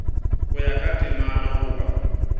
go ya ka temana goba